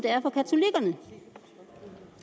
det